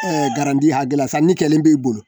garidi hakɛ la sanni kɛlen b'e bolo